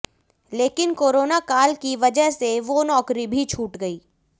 लेकिन कोरोना काल की वजह से वो नौकरी भी छूट गयी